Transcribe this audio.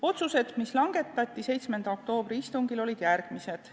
Otsused, mis langetati 7. oktoobri istungil, olid järgmised.